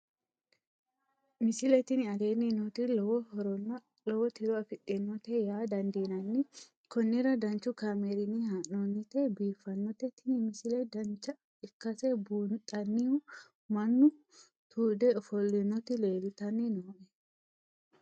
misile tini aleenni nooti lowo horonna lowo tiro afidhinote yaa dandiinanni konnira danchu kaameerinni haa'noonnite biiffannote tini misile dancha ikkase buunxanniu mannu tuude ofollinoti leeltanni nooe